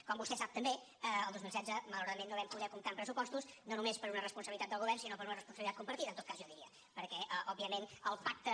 com vostè sap també el dos mil setze malauradament no vam poder comptar amb pressupostos no només per una responsabilitat del govern sinó per una responsabilitat compartida en tot cas jo diria perquè òbviament el pacte